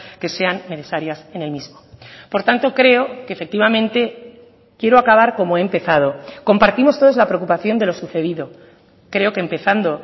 que sean necesarias en el mismo por tanto creo que efectivamente quiero acabar como he empezado compartimos todos la preocupación de lo sucedido creo que empezando